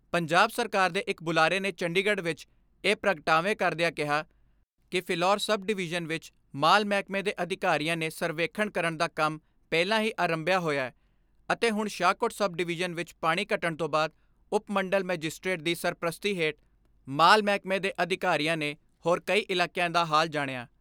ਪੰਜਾਬ ਸਰਕਾਰ ਦੇ ਇੱਕ ਬੁਲਾਰੇ ਨੇ ਚੰਡੀਗੜ੍ਹ ਵਿਚ ਇਹ ਪ੍ਰਗਟਾਵੇ ਕਰਦਿਆਂ ਕਿਹਾ ਕਿ ਫਿਲੌਰ ਸਬ ਡਿਵੀਜਨ ਵਿੱਚ ਮਾਲ ਮਹਿਕਮੇ ਦੇ ਅਧਿਕਾਰੀਆਂ ਨੇ ਸਰਵੇਖਣ ਕਰਣ ਦਾ ਕੰਮ ਪਹਿਲਾਂ ਹੀ ਅਰੰਭਿਆ ਹੋਇਐ ਅਤੇ ਹੁਣ ਸ਼ਾਹਕੋਟ ਸਬ ਡਵੀਜਨ ਵਿੱਚ ਪਾਣੀ ਘਟਣ ਤੋਂ ਬਾਅਦ ਉਪਮੰਡਲ ਮੈਜਿਸਟ੍ਰੇਟ ਦੀ ਸਰਪ੍ਰਸਤੀ ਹੇਠ ਮਾਲ ਮਹਿਕਮੇ ਦੇ ਅਧਿਕਾਰੀਆਂ ਨੇ ਹੋਰ ਕਈ ਇਲਾਕਿਆਂ ਦਾ ਹਾਲ ਜਾਣਿਆ।